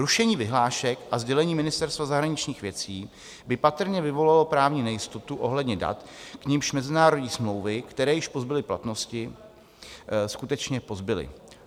Rušení vyhlášek a sdělení Ministerstva zahraničních věcí by patrně vyvolalo právní nejistotu ohledně dat, k nimž mezinárodní smlouvy, které již pozbyly platnosti, skutečně pozbyly.